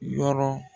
Yɔrɔ